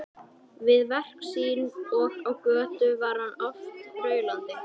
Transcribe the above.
Við verk sín og á götu var hann oft raulandi.